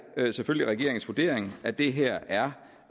selvfølgelig regeringens vurdering at det her er